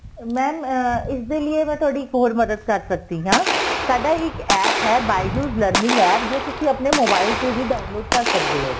mam ਇਸ ਦੇ ਲਿਏ ਮੈਂ ਤੁਹਾਡੀ ਇੱਕ ਹੋਰ ਮਦਦ ਕਰ ਸਕਦੀ ਆ ਸਾਡਾ ਇੱਕ APP ਹੈ bijou's learning APP ਜੋ ਤੁਸੀਂ ਆਪਣੇ mobile ਤੇ ਵੀ download ਕਰ ਸਕਦੇ ਓ